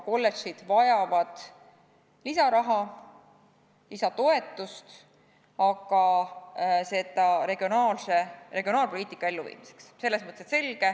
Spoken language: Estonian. Kolledžid vajavad lisaraha, lisatoetust, aga seda regionaalpoliitika elluviimiseks.